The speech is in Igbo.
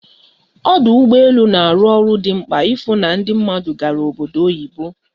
Ọdụ ụgbọ elu na-arụ ọrụ dị mkpa ịfụ na ndị mmadụ gara obodo oyibo